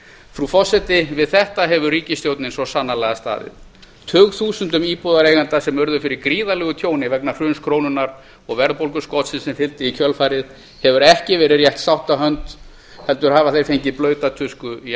frú forseti við þetta hefur ríkisstjórnin svo sannarlega staðið tugþúsundum íbúðareigenda sem sem urðu fyrir gríðarlegu tjóni vegna hruns krónunnar og verðbólguskotsins sem fylgdi í kjölfarið hefur ekki verið rétt sáttahönd heldur hafa þeir fengið blauta tusku í